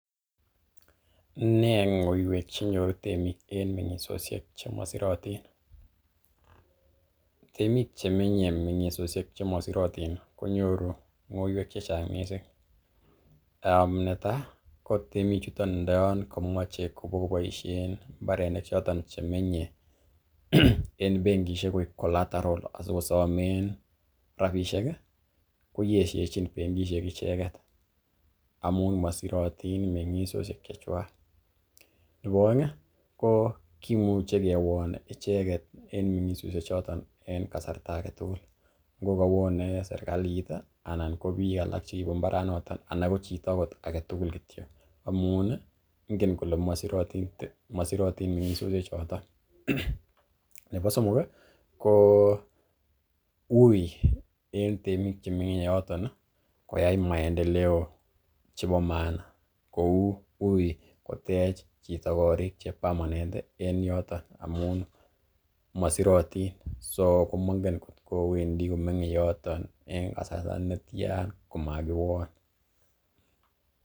Nee ng'oiwek chenyoru temik en mengisosiek chemosirotin? Temik che menye mengisosiek chemosirotin konyoru ng'oiywek che chang mising, konetai ko temichuto ndoyon komoche kobokoboishen mbarenik choton che menye en benkishek koik collateral asikosomen rabishek ii, koyeshechin benkishek icheget amun mosirotin meng'isoshek chechwak. Nebo oeng ko kimuche kiwon icheget en meng'isosiek ichoton en kasarta age tugul, ngo kowone serkalit anan kobiik alak che kibo mbaranoto, ana kochito age tugul kityo amun ingen kole mosirotin meng'isosiek choton. Nebo somok ko uiy en temik chemenye yoton koyai maendeleo chebo maana kou uiy kotech chito korik che permanent en yoton amun mosirotin so komongen kotko wendi komenye yoton en kasarta netyan komakiwon.